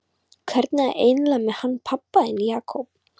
Hvernig er það eiginlega með hann pabba þinn, Jakob?